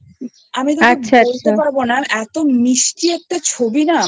আমি তোকে বলতে পারবো না এতো মিষ্টি একটা ছবি না